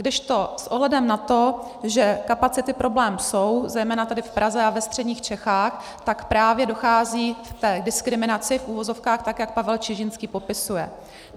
Kdežto s ohledem na to, že kapacity problém jsou, zejména tady v Praze a ve středních Čechách, tak právě dochází k té diskriminaci, v uvozovkách, tak jak Pavel Čižinský popisuje.